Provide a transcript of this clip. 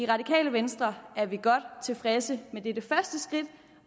radikale venstre er vi godt tilfredse med dette første skridt